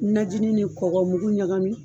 Najini ni kɔkɔmugu ɲagamin